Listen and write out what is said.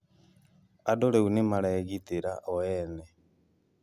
Andũ rĩu nĩ maregitĩra o ene